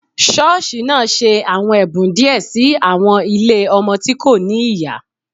Ṣọọṣi naa ṣe awọn ẹbun diẹ si awọn ile awọn ọmọ ti ko ni iya